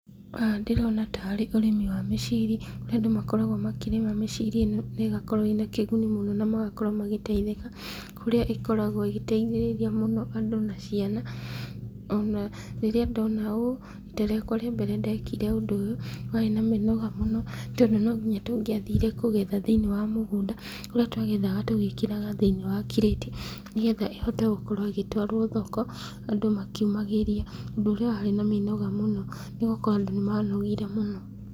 Haha ndĩrona tarĩ ũrĩmi wa mĩciri, kũrĩa andũ makoragwo makĩrĩma mĩciri ĩno, na ĩgakorwo ĩna kĩguni mũno na magakorwo magĩteithĩka, kũrĩa ikoragwo igĩteithĩrĩria andũ na ciana, ona rĩrĩa ndona ũũ, rita rĩa mbere ndekire ũndũ ũyũ warĩ na mĩnoga , tondũ no nginya tũngĩathire kũgetha thĩiniĩ wa mũgũnda, kũrĩa twagethaga tũgĩkĩraga thĩiniĩ wa kireti, nĩgetha ĩhote gũkorwo ĩgĩtwarwo thoko andũ makiũmagĩria, ũndũ ũrĩa warĩ na mĩnoga mũno, nĩgũkorwo andũ nĩma nogire mũno.